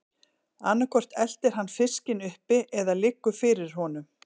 Annað hvort eltir hann fiskinn uppi eða liggur fyrir honum.